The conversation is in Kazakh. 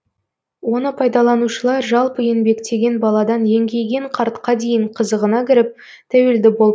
оны пайдаланушылар жалпы еңбектеген баладан еңкейген қартқа дейін қызығына кіріп тәуелді болып қалған